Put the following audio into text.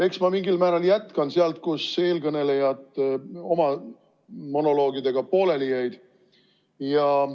Eks ma mingil määral jätkan sealt, kus eelkõnelejad oma monoloogidega pooleli jäid.